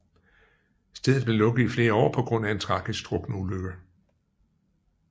Stedet blev lukket i flere år på grund af en tragisk drukneulykke